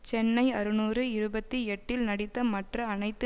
சென்னை அறுநூறு இருபத்தி எட்டில் நடித்த மற்ற அனைத்து